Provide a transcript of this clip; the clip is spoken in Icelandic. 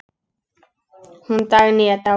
Hún Dagný er dáin.